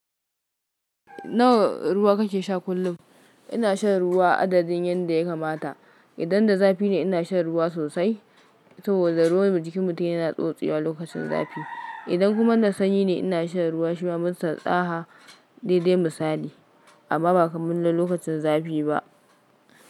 Nawa ruwa kake sha kullum? Ina shan ruwa adadin yadda ya kamata. Idan da zafi ne, ina shan ruwa sosai saboda ruwan jikin mutum yana tsotsewa lokacin zafi. Idan kuma na sanyi ne, ina shan ruwa shima, mustaɗaha daidai misali amma ba kamar na lokacin zafi ba.